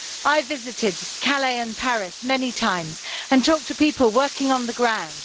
I have visited Calais and Paris many times and talked to people working on the ground.